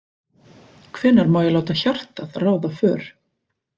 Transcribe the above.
Hvenær má ég láta hjartað ráða för?